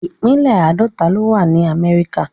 ipínlẹ̀ Àdọ̀tà lo wà ni Àmẹríkà